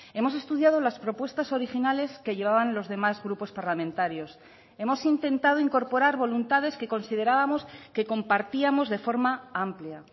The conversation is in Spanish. hemos estudiado las propuestas originales que llevaban los demás grupos parlamentarios hemos intentado incorporar voluntades que considerábamos que compartíamos de forma amplia